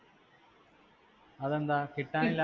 അതെന്താ കിട്ടാനില്ല?